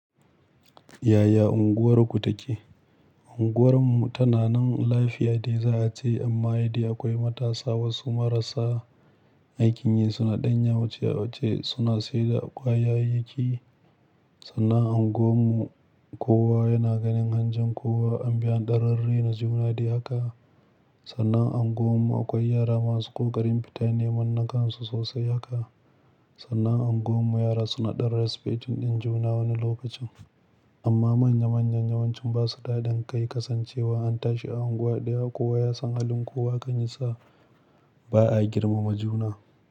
Yaya unguwarku take? Unguwar mu tana nan lafiya dai za a ce, amma yadai akwai matasa wasu marasa aikin yi suna ɗan yawace-yawace suna siyar da ƙwayayyiki. Sannan unguwar mu kowa yana ganin hanjin kowa, an bi an dan rarraina juna dai haka. Sannan unguwar mu akwai yara masu ƙoƙarin fita neman na kansu sosai haka. Sannan unguwar mu yara suna ɗan resfetin din juna wani lokacin. Amma manya manyan yawancin ba su da haɗin kai, kasancewa an tashi a unguwa ɗaya kowa ya san halin kowa hakan yasa ba a girmama juna.